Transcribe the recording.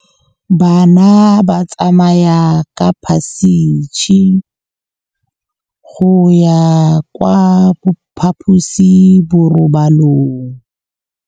Bana ba tsamaya ka phašitshe go ya kwa phaposiborobalong.